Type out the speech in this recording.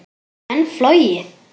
Geta menn flogið?